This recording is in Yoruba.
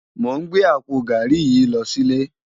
Mó n gbé àpó gàrí yi lò silé